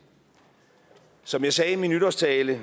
som jeg sagde i min nytårstale